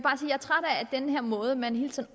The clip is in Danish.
er træt af den måde man hele tiden